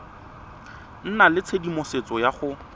nna le tshedimosetso ya go